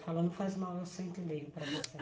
Eu falo, não faz mal, eu sento e leio para você.